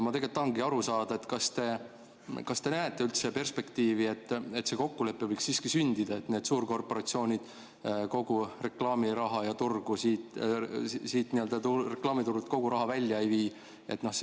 Ma tegelikult tahangi aru saada, kas te näete üldse perspektiivi, et see kokkulepe võiks siiski sündida, et need suurkorporatsioonid kogu reklaamiraha siit reklaamiturult välja ei vii.